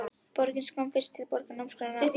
Borgin sem ég kom fyrst til, borg námsáranna.